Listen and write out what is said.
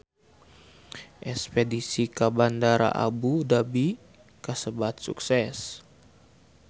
Espedisi ka Bandara Abu Dhabi kasebat sukses